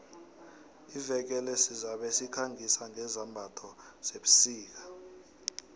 iveke le sizabe sikhangisa ngezambatho zebusika